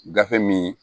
Gafe min